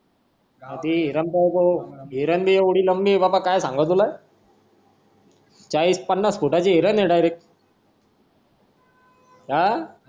हिरण भी एव्हडी लंबी हाय कि काय सांगू तुला चाळीस पनास फुटाची हिरं हाय ना हा